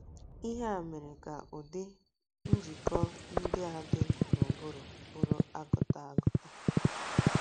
Ihe a meziri ka ụdị njikọ ndị a dị n’ụbụrụ bụrụ agụta agụta.